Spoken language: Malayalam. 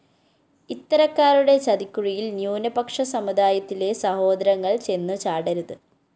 ഇത്തരക്കാരുടെ ചതിക്കുഴിയില്‍ ന്യൂനപക്ഷ സമുദായത്തിലെ സഹോദരങ്ങള്‍ ചെന്ന് ചാടരുത്